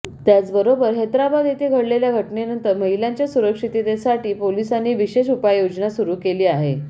त्याचबरोबर हैदराबाद येथे घडलेल्या घटनेनंतर महिलांच्या सुरक्षिततेसाठी पोलिसांनी विशेष उपाययोजना सुरु केली आहे